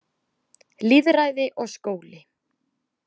Lýðræði og skóli